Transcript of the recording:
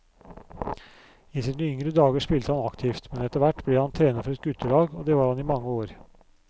I sine yngre dager spilte han aktivt, men etterhvert ble han trener for et guttelag, og det var han i mange år.